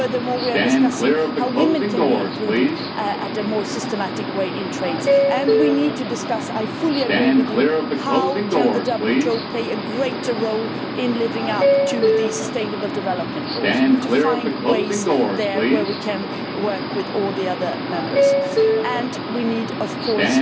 Furthermore, we are discussing how women can be included in a more systematic way in trade, and we need to discuss, I fully agree with you, how the WTO can play a greater role in living up to the sustainable development goals. We need to find ways there where we can work with all the other members and we need of course